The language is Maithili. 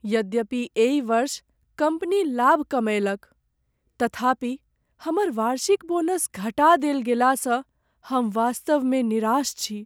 यद्यपि एहि वर्ष कम्पनी लाभ कमएलक तथापि हमर वार्षिक बोनस घटा देल गेलासँ हम वास्तवमे निराश छी।